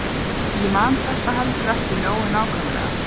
Ég man þetta heldur ekki nógu nákvæmlega.